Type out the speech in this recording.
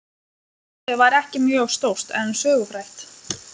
Húsið var ekki mjög stórt en sögufrægt.